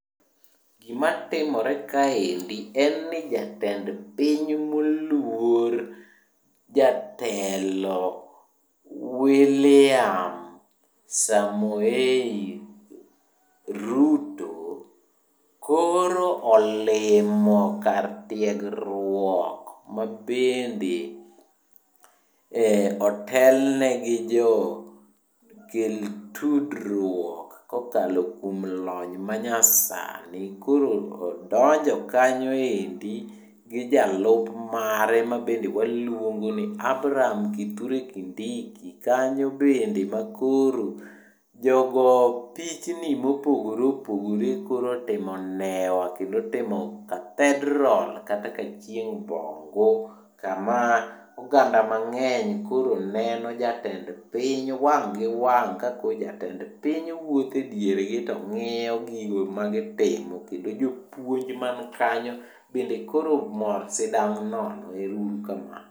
Gima timore kaendi en ni jatend piny moluor jatelo William Samoei Ruto, koro olimo kar tiegruok mabende otelni gi jo kel tudruok kokalo kuom lony manyasani. Koro odonjo kanyoendi gi jalupne mabe waluongo ni Abraham Kithure Kindiki, kanyo bende makoro jogo pichni mopogore opogore koro otimo newa kendo otimo Cathedral kata kachieng' bongu. Kama oganda mang'eny koro neno jatend piny wang' gi wang' ka ko jatend piny wuothediergi to ng'iyo gigo magitimo. Kendo jopuonj man kanyo bende koro mor sidang' nono. Ero uru kamano.